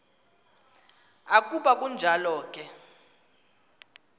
ukuba kunjalo ke